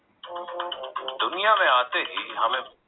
દુનિયા મેં આતે હી હમે